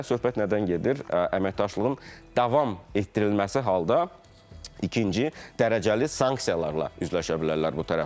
Və söhbət nədən gedir, əməkdaşlığın davam etdirilməsi halda ikinci dərəcəli sanksiyalarla üzləşə bilərlər bu tərəflər.